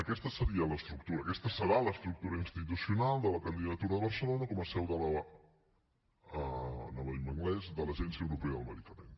aquesta seria l’estructura aquesta serà l’estructura institucional de la candidatura de barcelona com a seu de l’agència europea del medicament